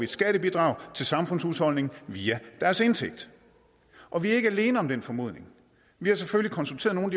skattebidrag til samfundshusholdningen via deres indtægt og vi er ikke alene om den formodning vi har selvfølgelig konsulteret nogle